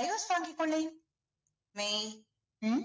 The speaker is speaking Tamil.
divorce வாங்கி கொள்ளேன் மெய் உம்